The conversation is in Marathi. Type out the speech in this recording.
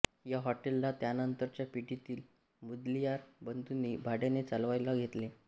या हॉटेलला त्यानंतरच्या पिढीतील मुदलियार बंधूनी भाडयाने चालवायला घेतले